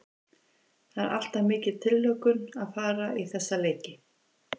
Það er alltaf mikil tilhlökkun að fara í þessa leiki.